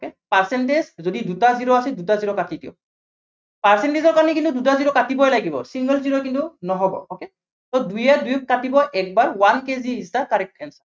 percentage যদি দুটা zero আছে দুটা zero কাটি দিয়ক। percentzge ৰ কাৰনে কিন্তু দুটা zero কাটিবই লাগিব। single single কিন্তু নহ'ব, okay, so দুইয়ে দুইক কাটিব একবাৰ yes, one kg is the correct answer